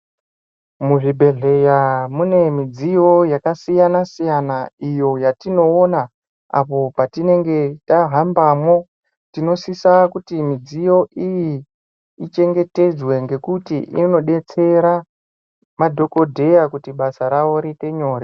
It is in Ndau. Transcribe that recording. Muzvibhedhleya mune midziyo yakasiyana-siyana iyo yatinoona apo patinenge tahambamwo, tinosisa kuti midziyo iyi ichengetedzwe ngekuti inodetsera madhokodheya kuti basa ravo riite nyore.